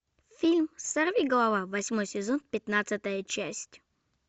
фильм сорви голова восьмой сезон пятнадцатая часть